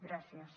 gràcies